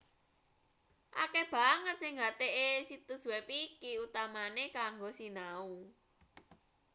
akeh banget sing nggatekke situs web iki utamane kanggo sinau